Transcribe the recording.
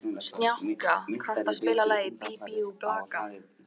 Snjáka, kanntu að spila lagið „Bí bí og blaka“?